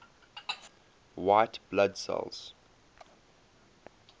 white blood cells